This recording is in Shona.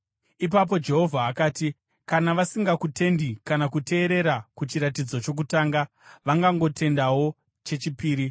Ipapo Jehovha akati, “Kana vasingakutendi kana kuteerera kuchiratidzo chokutanga, vangangotendawo chechipiri.